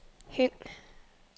Høng